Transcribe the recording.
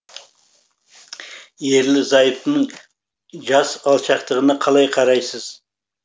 ерлі зайыптының жас алшақтығына қалай қарайсыз